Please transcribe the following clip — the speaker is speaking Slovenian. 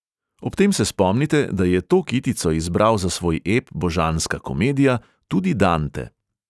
Ob tem se spomnite, da je to kitico izbral za svoj ep božanska komedija tudi dante.